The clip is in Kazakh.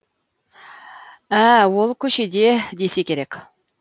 ә ол көшеде десе керек